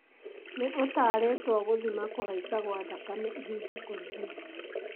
nĩ ũtaarĩtwo gũthima kũhaica gwa thakame ihinda kwa ihinda